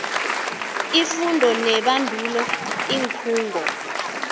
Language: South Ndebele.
ifundo nebandulo iinkhungo